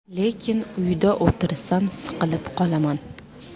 Lekin uyda o‘tirsam siqilib qolaman.